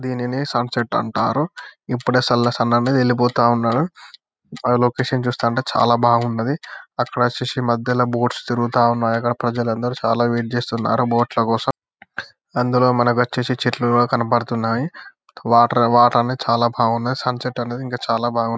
దీనిని సన్సెట్ అంటారు ఇప్పుడే సల్ల సన్ అనేది వెల్లిపోతావున్నాడు. లోకేషన్ చూస్తంటే చాలా బాగున్నది. అక్కడ వచ్చేసి మధ్యలో బోట్స్ తిరుగుతా ఉన్నాయి. అక్కడ ప్రజలందరూ చాలా వెయిట్ చేస్తూ ఉన్నారు బోట్ ల కోసం అందులో మనకు వచేసి చెట్లు కూడా కనపడుతున్నాయి వాటర్ వాటర్ అనేది చాలా బాగున్నాయి సన్సెట్ అనేది ఇంకా చాలా బాగుంది.